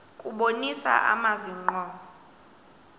kubonisa amazwi ngqo